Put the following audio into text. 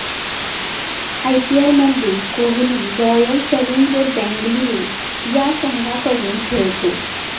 आयपीएलमध्ये Kohli Royal Challenger Bengaluru या संघाकडून खेळतो.